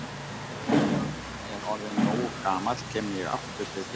Og þegar ég er orðinn nógu gamall kem ég aftur til þín.